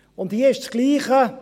Hier ist es das Gleiche.